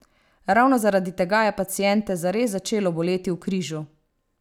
Ravno zaradi tega je paciente zares začelo boleti v križu.